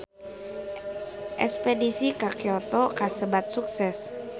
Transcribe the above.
Espedisi ka Kyoto kasebat sukses